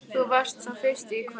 Þú varst sú fyrsta í kvöld.